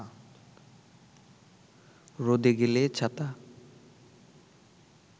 রোদে গেলে ছাতা